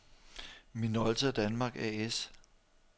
Minolta Danmark A/S